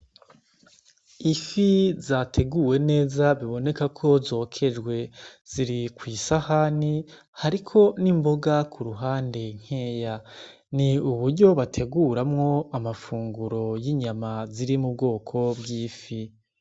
Ifi zateguwe neza biboneka ko zokejwe ziri kw' isahani hariko n' imboga kuruhande nkeya ni uburyo bateguramwo amafunguro y' inyama ziri mubwoko bw'ifi.